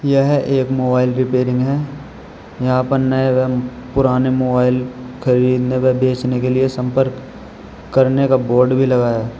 यह एक mobile repairing है यहां पर नए एवं पुराने मोबाइल खरीदने व बेचने के लिए संपर्क करने का बोर्ड भी लगा है।